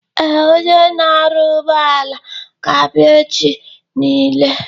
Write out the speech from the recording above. Ee, Onye na-arụ ụgbọala ga-abịa echi nile